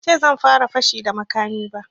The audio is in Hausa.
Ban ce zan fara fashi da makami ba